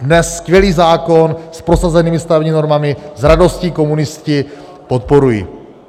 Dnes skvělý zákon s prosazenými stavebními normami s radostí komunisti podporují.